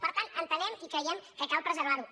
per tant entenem i creiem que cal preservar ho